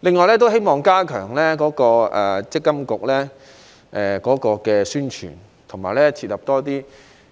此外，我希望積金局能加強宣傳，以及設立更多